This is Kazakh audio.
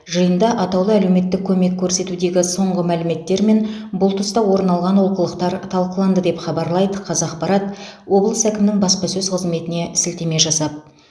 жиында атаулы әлеуметтік көмек көрсетудегі соңғы мәліметтер мен бұл тұста орын алған олқылықтар талқыланды деп хабарлайды қазақпарат облыс әкімінің баспасөз қызметіне сілтеме жасап